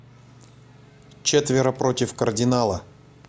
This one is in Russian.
четверо против кардинала